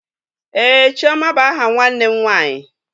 Ee, chioma bụ aha nwanne m nwanyị